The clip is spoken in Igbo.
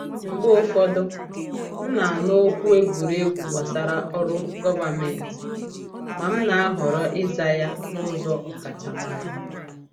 Mgbe ụfọdụ, m na-anụ okwu egwuregwu gbasara ndị ọrụ gọvanmentị, ma m na-ahọrọ ịza ya n’ụzọ ọkachamara.